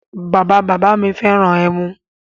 Bàbá bàbá mi fẹ́ràn ẹmu